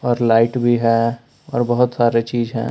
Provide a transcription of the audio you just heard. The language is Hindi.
लाइट भी है और बहुत सारी चीज है।